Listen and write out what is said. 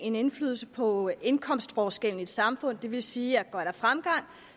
en indflydelse på indkomstforskellen i et samfund det vil sige at er der fremgang